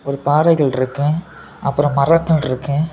ஒரு பாறைகள் இருக்கு அப்பரம் மரங்கள் இருக்கு.